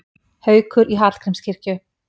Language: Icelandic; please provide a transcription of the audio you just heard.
Haukur í Hallgrímskirkju